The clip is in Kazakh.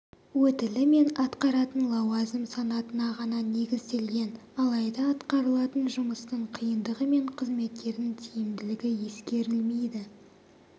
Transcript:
өтілі мен атқаратын лауазым санатына ғана негізделген алайда атқарылатын жұмыстың қиындығы мен қызметкердің тиімділігі ескерілмейді